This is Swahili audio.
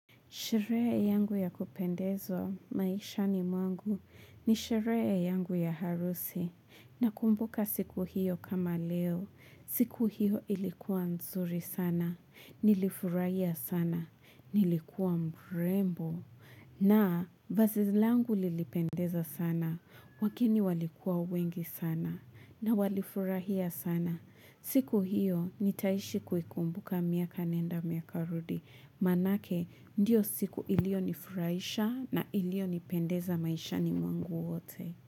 Sherehe yangu ya kupendezwa maishani mwangu ni sherehe yangu ya harusi nakumbuka siku hiyo kama leo. Siku hiyo ilikuwa nzuri sana, nilifurahia sana, nilikuwa mrembo na vazi langu lilipendeza sana, wageni walikuwa wengi sana na walifurahia sana. Siku hiyo nitaishi kuikumbuka miaka nenda miaka rudi. Maanake, ndiyo siku iliyonifurahisha na iliyonipendeza maishani mwangu wote.